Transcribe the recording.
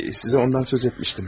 Sizə ondan söz etmişdim.